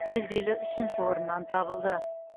жүлделі үшінші орыннан табылды